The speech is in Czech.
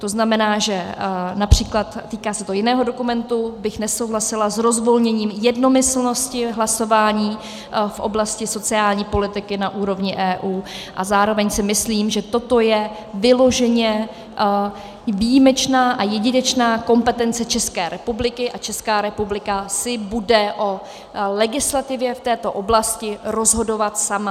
To znamená, že například, týká se to jiného dokumentu, bych nesouhlasila s rozvolněním jednomyslnosti hlasování v oblasti sociální politiky na úrovni EU, a zároveň si myslím, že toto je vyloženě výjimečná a jedinečná kompetence České republiky a Česká republika si bude o legislativě v této oblasti rozhodovat sama.